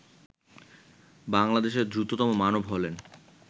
বাংলাদেশের দ্রুততম মানব হলেন